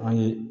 An ye